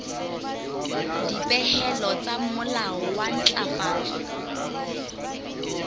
dipehelo tsa molao wa ntlafatso